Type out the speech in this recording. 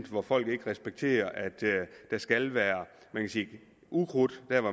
hvor folk ikke respekterer at der skal være ukrudt der hvor